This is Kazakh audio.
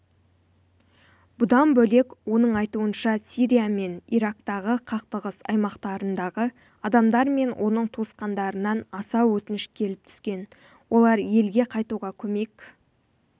бұдан бөлек оның айтуынша сирия мен ирактағы қақтығыс аймақтарындағы адамдар мен оның туысқандарынан аса өтініш келіп түскен олар елге қайтуға көмек